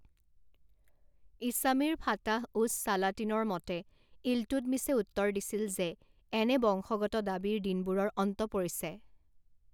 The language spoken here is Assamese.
ইছামিৰ ফাতাহ উচ সালাতিনৰ মতে ইলটুটমিছে উত্তৰ দিছিল যে এনে বংশগত দাবীৰ দিনবোৰৰ অন্ত পৰিছে।